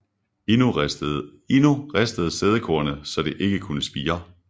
Ino ristede sædekornet så det ikke kunne spire